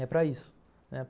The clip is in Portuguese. É para isso, né.